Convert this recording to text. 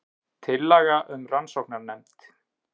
Tillaga um rannsóknanefnd